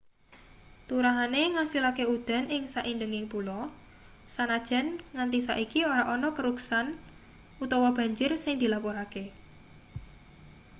turahane ngasilake udan ing saindenging pulo sanajan nganti saiki ora ana keruksan utawa banjir sing dilapurake